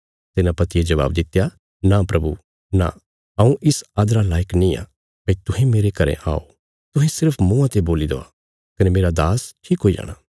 सेनापतिये जबाब दित्या नां प्रभु नां हऊँ इस आदरा लायक निआं भई तुहें मेरे घरें आओ तुहें सिर्फ मुँआं ते बोल्ली देआ कने मेरा दास्स ठीक हुई जाणा